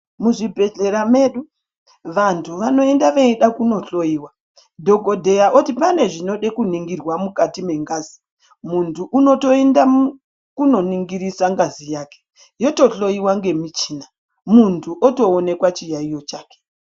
Muzvibhedhlera medu vantu vanoenda veida kundohloyiwa. Dhogodheya oti pane zvinode kuningirwa mukati mengazi, muntu unotoenda kunoningirisa ngazi yake yotohloyiwa ngemichina, muntu otoonekwa chiyaiyo chake.